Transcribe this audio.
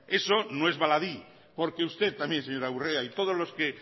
eso no es baladí porque usted también señora urrea y todos los que